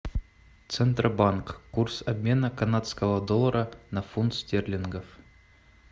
центробанк курс обмена канадского доллара на фунт стерлингов